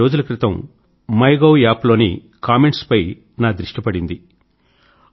కొన్ని రోజుల క్రితం మైగోవ్ అప్ లోని కామెంట్స్ పై నా దృష్టి పడింది